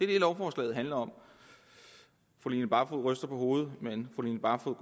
det lovforslaget handler om fru line barfod ryster på hovedet men fru line barfod